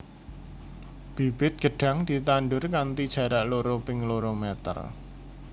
Bibit gedhang ditandur kanthi jarak loro ping loro meter